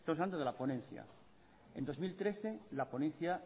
estamos hablando de la ponencia en dos mil trece la ponencia